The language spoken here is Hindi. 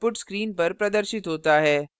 output screen पर प्रदर्शित होता है